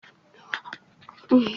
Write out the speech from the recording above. Ọ zụtara nwa nkịta ọhụụ